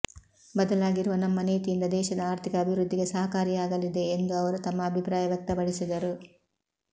ಬದಲಾಗಿರುವ ನಮ್ಮ ನೀತಿಯಿಂದ ದೇಶದ ಆರ್ಥಿಕ ಅಭಿವೃದ್ಧಿಗೆ ಸಹಕಾರಿಯಾಗಲಿದೆ ಎಂದು ಅವರು ತಮ್ಮ ಅಭಿಪ್ರಾಯ ವ್ಯಕ್ತಪಡಿಸಿದರು